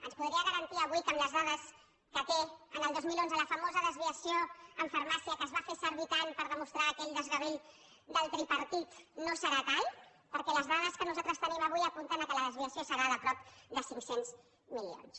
ens podria garantir avui que amb les dades que té el dos mil onze la famosa desviació en farmàcia que es va fer servir tant per demostrar aquell desgavell del tripartit no serà tal perquè les dades que nosaltres tenim avui apunten que la desviació serà de prop de cinc cents milions